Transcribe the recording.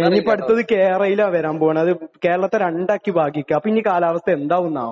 ഇനി ഇപ്പോൾ അടുത്തത് കെ-റെയിൽ ആണ് വരാൻ പോകുന്നത്. കേരളത്തെ രണ്ടാക്കി ഭാഗിക്കും. അപ്പോൾ ഇനി കാലാവസ്ഥ എന്താവുമെന്നാവോ.